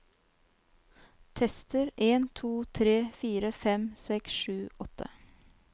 Tester en to tre fire fem seks sju åtte